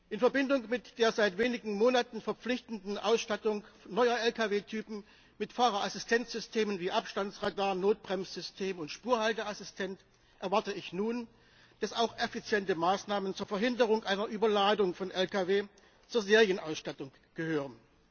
In Verbindung mit der seit wenigen Monaten verpflichtenden Ausstattung neuer Lkw Typen mit Fahrerassistenzsystemen wie Abstandsradar, Notbremssystem und Spurhalteassistent erwarte ich nun, dass auch effiziente Maßnahmen zur Verhinderung einer Überladung von Lkw zur Serienausstattung gehören.